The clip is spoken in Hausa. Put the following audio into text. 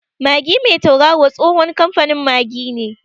Magi mai tauraro tsohon kamfanin Magi ne.